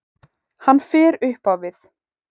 Hann fer upp á við.